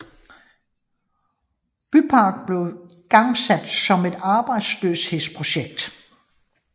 Byparken blev igangsat som et arbejdsløshedsprojekt